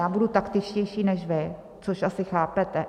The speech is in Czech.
Já budu taktičtější než vy, což asi chápete.